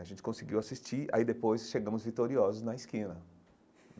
A gente conseguiu assistir, aí depois chegamos vitoriosos na esquina.